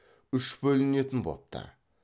үш бөлінетін бопты